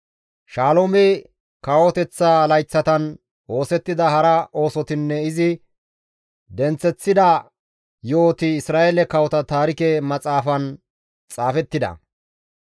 Shaloome kawoteththa layththatan oosettida hara oosotinne izi denththeththida yo7oti Isra7eele kawota taarike maxaafan xaafettida.